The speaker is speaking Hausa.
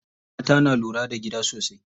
Mata na lura da gida sosai.